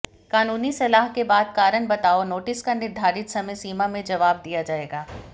कानूनी सलाह के बाद कारण बताओ नोटिस का निर्धारित समयसीमा में जवाब दिया जाएगा